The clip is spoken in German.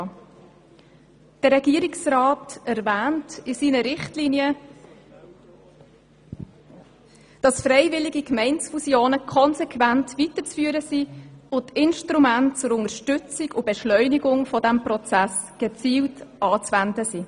Der Regierungsrat erwähnt in seinen Richtlinien, dass freiwillige Gemeindefusionen konsequent weiterzuführen und Instrumente zur Unterstützung und Beschleunigung dieser Prozesse gezielt anzuwenden seien.